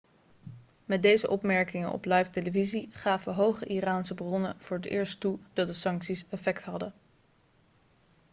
met deze opmerkingen op livetelevisie gaven hoge iraanse bronnen voor het eerst toe dat de sancties effect hadden